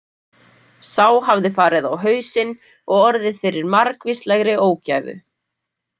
Sá hafði farið á hausinn og orðið fyrir margvíslegri ógæfu.